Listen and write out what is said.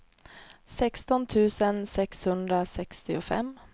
sexton tusen sexhundrasextiofem